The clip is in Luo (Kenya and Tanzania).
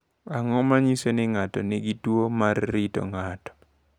Ang’o ma nyiso ni ng’ato nigi tuwo mar rito ng’ato?